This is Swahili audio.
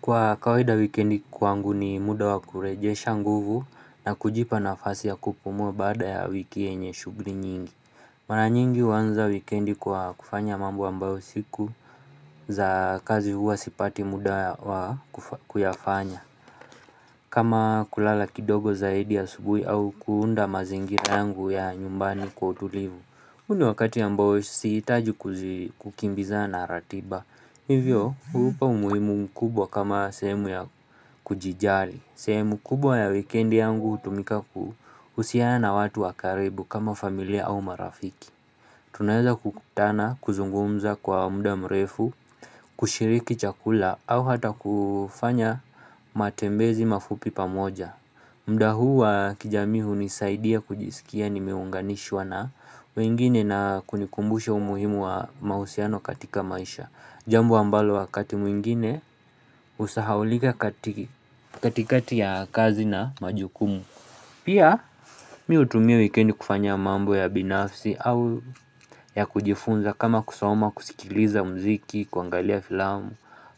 Kwa kawaida wikendi kwangu ni muda wa kurejesha nguvu na kujipa nafasi ya kupumua bada ya wiki yenye shughli nyingi Mara nyingi huanza wikendi kwa kufanya mambo ambayo siku za kazi huwa sipati muda wa kuyafanya kama kulala kidogo zaidi asubuhi au kuunda mazingira yangu ya nyumbani kwa utulivu huu ni wakati ambao sihitaji kukimbiza na ratiba, hivyo huupa umuhimu mkubwa kama sehemu ya kujijali, sehemu kubwa ya wikendi yangu hutumika kuhusiana watu wa karibu kama familia au marafiki Tunaeza kukutana, kuzungumza kwa muda mrefu, kushiriki chakula au hata kufanya matembezi mafupi pamoja muda huwa kijamii hunisaidia kujisikia nimeunganishwa na wengine na kunikumbusha umuhimu wa mahusiano katika maisha. Jambo ambalo wakati mwingine usahaulika katikati ya kazi na majukumu. Pia miutumia wikendi kufanya mambo ya binafsi au ya kujifunza kama kusoma kusikiliza mziki, kuangalia filamu,